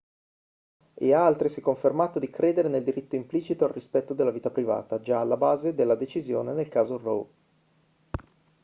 e ha altresì confermato di credere nel diritto implicito al rispetto della vita privata già alla base della decisione nel caso roe